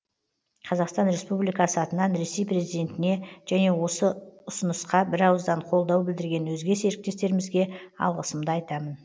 қазақстан республикасы атынан ресей президентіне және осы ұсынысқа бірауыздан қолдау білдірген өзге серіктестерімізге алғысымды айтамын